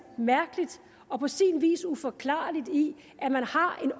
mærkeligt og på sin vis uforklarligt i at man har en